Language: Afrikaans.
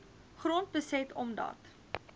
grond beset omdat